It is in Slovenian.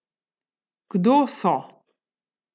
Kdo so?